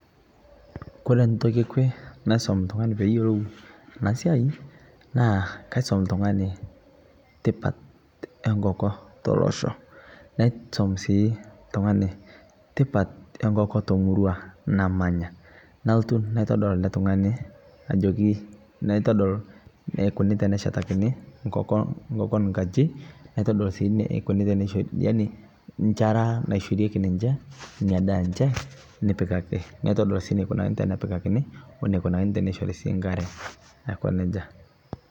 Kore ntokii ekwee naisum ltung'ani pee iyeloo ana siai naa kaisum ltung'ani tipaat enkokoo tolosho. Naisum sii ltung'ani tipaat enkokoo to murua namanyaa. Nalotuu naitodol ele ltung'ani ajokii natodol neukuni tene shataakini nkokoo, nkokoon nkaaji naitodol sii neekuni tene shoori yaani lchaara neishorikie ninchee enia ndaa enchee nipikakii. Naitodolo sii naikunaki tene piikaki oneikunani tene shoori sii nkaare aikoo nejaa.